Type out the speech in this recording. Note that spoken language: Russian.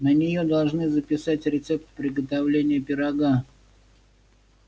на неё должны записать рецепт приготовления пирога